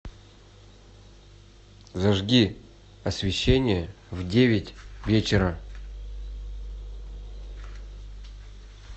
зажги освещение в девять вечера